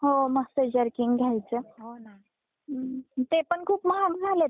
हम्म ते पण खूप महाग झालेत पहिले खूप स्वस्त होते आता खूप,